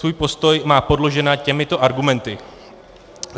Svůj postoj má podložen těmito argumenty.